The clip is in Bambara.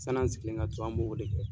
San n'an sigilen ka to, an b'o de kɛ.